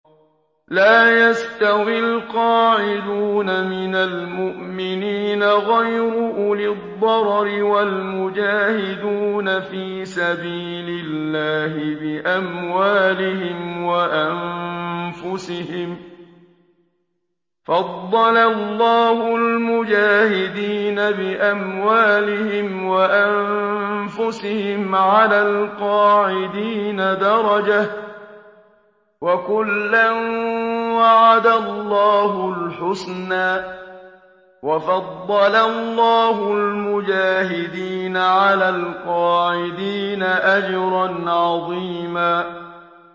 لَّا يَسْتَوِي الْقَاعِدُونَ مِنَ الْمُؤْمِنِينَ غَيْرُ أُولِي الضَّرَرِ وَالْمُجَاهِدُونَ فِي سَبِيلِ اللَّهِ بِأَمْوَالِهِمْ وَأَنفُسِهِمْ ۚ فَضَّلَ اللَّهُ الْمُجَاهِدِينَ بِأَمْوَالِهِمْ وَأَنفُسِهِمْ عَلَى الْقَاعِدِينَ دَرَجَةً ۚ وَكُلًّا وَعَدَ اللَّهُ الْحُسْنَىٰ ۚ وَفَضَّلَ اللَّهُ الْمُجَاهِدِينَ عَلَى الْقَاعِدِينَ أَجْرًا عَظِيمًا